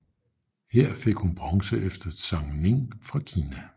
Her fik hun bronze efter Zhang Ning fra Kina